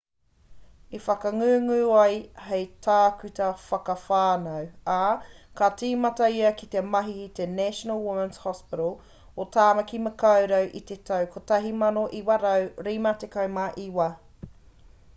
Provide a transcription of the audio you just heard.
i whakangungu ia hei tākuta whakawhānau ā ka tīmata ia ki te mahi ki te national women's hospital o tāmaki makaurau i te tau 1959